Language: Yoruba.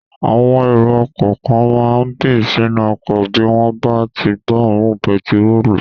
Àwọn èrò ọkọ̀ kan máa n bì sínú ọkọ̀ bí wọ́n bá tí gbọ́ òórùn pẹtirólù